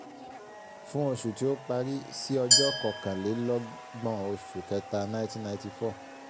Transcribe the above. fún oṣù tí ó parí sí ọjọ́ kọkàn-lé-lọ́gbọ̀n oṣù kẹta nineteen ninety four.